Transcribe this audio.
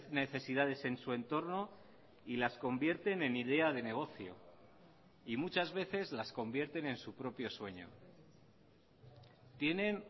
necesidades en su entorno y las convierten en idea de negocio y muchas veces las convierten en su propio sueño tienen